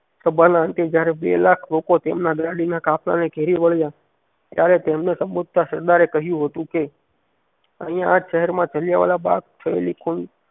સભાના અંતે જયારે બેલાખ લોકો તેમના ગાડીના કાફલાને ધેરી વળ્યાં ત્યારે તેમના સરદારે કહ્યું હતું કે અહીંયા આજ શહેર માં જલિયાંવાલા બાગ થયેલી